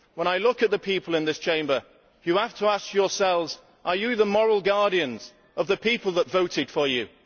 When I look at the people in this Chamber, you have to ask yourselves whether you are the moral guardians of the people who voted for you.